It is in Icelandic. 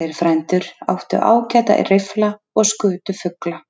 þeir frændur, áttu ágæta riffla og skutu fugla.